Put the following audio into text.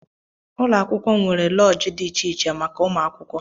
Ụlọakwụkwọ m nwere loodji dị iche iche màkà umuakwukwo.